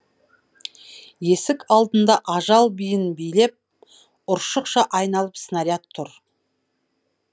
есік алдында ажал биін билеп ұршықша айналып снаряд тұр